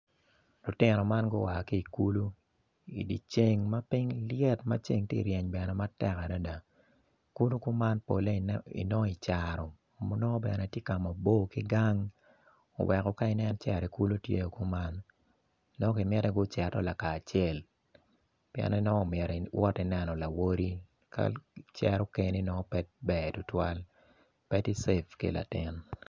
Lutino man gua ki i kulu i di ceng ma piny lyet ceng ti ryeny bene matek adida kulu kuman pole inongo i caro ma nongo tye mabor ki gang oweko ka inen ceri i kulu kuman dong ki miti guto laka acel pien ni nongo omyeri iwoti neno lawoti ka icero keni nongo pe ber tutwal pe tye save ki latin